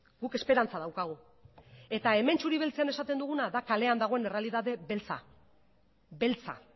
guk esperantza daukagu eta hemen txuri beltzean esaten duguna da kalean dagoen errealitate beltza beltza